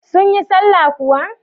Sun yi sallah kuwa?